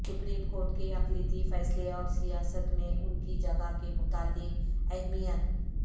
supreme court کے اقلیتی فیصلے اور سیاست میں ان کی جگہ کے متعلق اہمیت